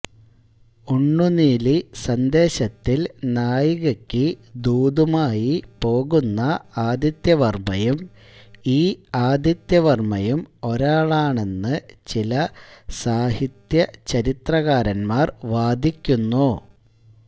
ഉണ്ണുനീലിസന്ദേശത്തിൽ നായികയ്ക്കു ദൂതുമായി പോകുന്ന ആദിത്യവർമ്മയും ഈ ആദിത്യവർമ്മയും ഒരാളാണെന്ന് ചില സാഹിത്യചരിത്രകാരൻമാർ വാദിക്കുന്നു